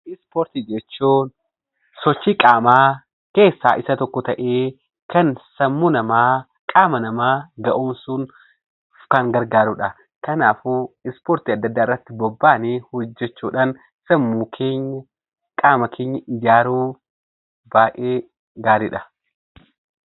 Ispoortii jechuun sochii qaamaa keessaa isa tokko ta'ee kan sammuu namaa, qaama namaa ga'oomsuuf kan gargaarudha. Kanaafuu ispoortii adda addaa irratti bobbaanee hojjechuudhaan sammuu keenya, qaama keenya ijaaruu baay'ee gaariidha.